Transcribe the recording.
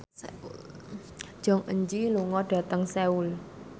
Jong Eun Ji lunga dhateng Seoul